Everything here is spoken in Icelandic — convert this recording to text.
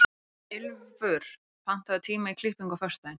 Ylfur, pantaðu tíma í klippingu á föstudaginn.